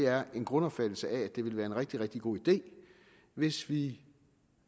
er en grundopfattelse af at det ville være en rigtig rigtig god idé hvis vi